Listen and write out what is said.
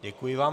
Děkuji vám.